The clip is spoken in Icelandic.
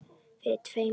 Fyrir tveimur dögum?